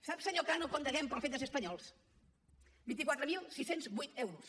sap senyor cano quant devem pel fet de ser espanyols vint quatre mil sis cents i vuit euros